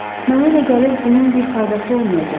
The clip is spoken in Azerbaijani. Mənə elə gəlir bunun bir faydası olmayacaq.